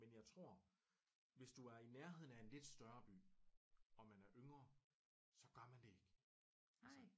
Men jeg tror hvis du er i nærheden af en lidt større by om man er yngre så gør man det ikke altså